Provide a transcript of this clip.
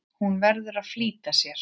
Hún verður að flýta sér.